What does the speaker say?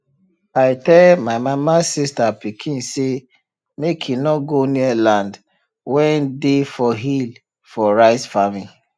i tell my mama sista pikin say make e nor go near land wen dey for hill for rice farming